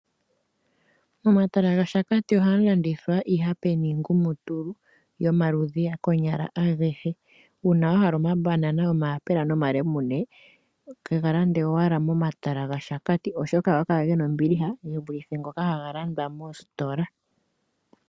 Momatala gashakati oha mu landithwa iihape niingumutulu yomaludhi konyala a gehe. uuna wa hala omambanana, omayapela nomalemune ke ga lande owala mo matala gashakati oshoka oha ga kala gena ombiliha ge vulithe ngoka ha ga landwa moositola.